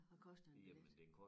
Hvad koster en billet?